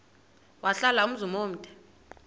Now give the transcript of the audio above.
wahlala umzum omde